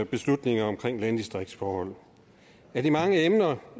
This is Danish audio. beslutninger omkring landdistriktsforhold af de mange emner